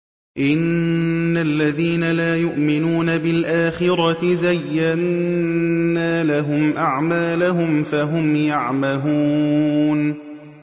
إِنَّ الَّذِينَ لَا يُؤْمِنُونَ بِالْآخِرَةِ زَيَّنَّا لَهُمْ أَعْمَالَهُمْ فَهُمْ يَعْمَهُونَ